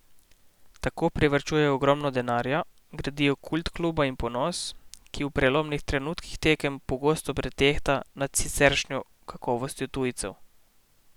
Tako privarčujejo ogromno denarja, gradijo kult kluba in ponos, ki v prelomnih trenutkih tekem pogosto pretehta nad siceršnjo kakovostjo tujcev.